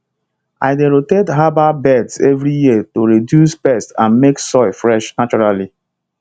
i dey rotate herbal beds every year to reduce pests and make soil fresh naturally